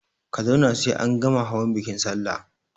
Ka zauna sai an gama hawan bikin salla!